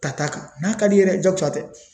Ta n'a ka di i yɛrɛ ye jagosa tɛ